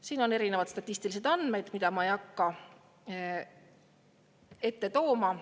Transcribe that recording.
Siin on erinevad statistilised andmed, mida ma ei hakka ette tooma.